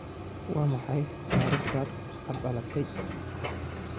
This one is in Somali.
Waa maxay taariikhda aad dhalatay?